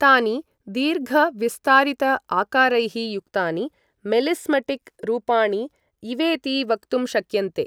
तानि दीर्घ विस्तारित आकारैः युक्तानि मेलिस्मटिक् रूपाणि इवेति वक्तुं शक्यन्ते।